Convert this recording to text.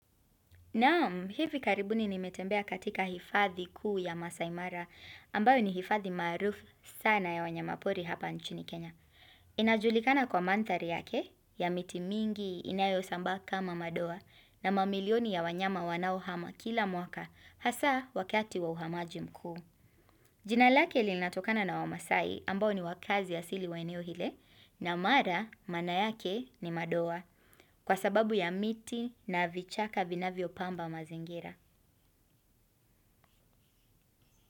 Naam, hivi karibuni nimetembea katika hifadhi kuu ya Masai Mara, ambayo ni hifadhi maarufu sana ya wanyamapori hapa nchini Kenya. Inajulikana kwa manthari yake, ya miti mingi inayo sambaa kama madoa, na mamilioni ya wanyama wanao hama kila mwaka, hasa wakati wa uhamaji mkuu. Jinalake linatokana na wamasai ambao ni wakazi ya asili wa eneo ile, na mara maana yake ni madoa kwa sababu ya miti na vichaka vinavyo pamba mazingira.